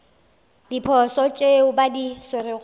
diposo tšeo ba di swerego